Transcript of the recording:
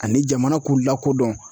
Ani jamana k'u lakodɔn.